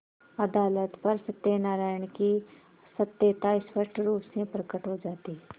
अदालत पर सत्यनारायण की सत्यता स्पष्ट रुप से प्रकट हो जाती